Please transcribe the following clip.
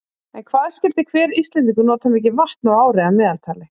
En hvað skyldi hver Íslendingur nota mikið vatn á ári að meðaltali?